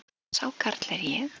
Sá karl er ég.